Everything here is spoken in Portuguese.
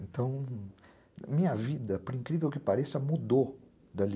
Então, minha vida, por incrível que pareça, mudou dali.